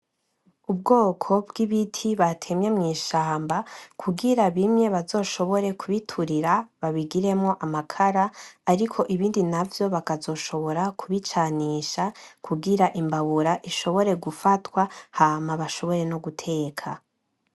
Ubwoko bw'ibiti batemye mw'ishamba kugira bimwe bazoshobore kubiturira babigiremwo amakara ariko ibindi navyo bakazoshobora kubicanisha kugira imbabura ishobore gufatwa hama bashobore noguteka.